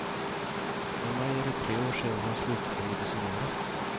I maj är det tre år sedan han slutade medicinera.